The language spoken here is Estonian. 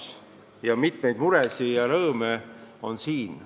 Selles sektoris on mitmeid muresid ja rõõme.